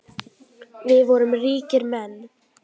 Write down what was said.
Við vorum ríkir menn.